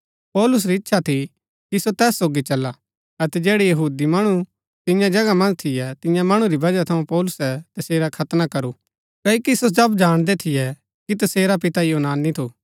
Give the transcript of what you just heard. पौलुस री इच्छा थी कि सो तैस सोगी चला अतै जैड़ै यहूदी मणु तियां जगह मन्ज थियै तियां मणु री वजह थऊँ पौलुसै तसेरा खतना करू क्ओकि सो सब जाणदै थियै कि तसेरा पिता यूनानी थु